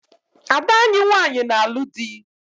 Ada anyị nwanyị na-alu dị